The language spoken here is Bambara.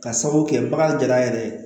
Ka sabu kɛ bagan gɛlɛya yɛrɛ ye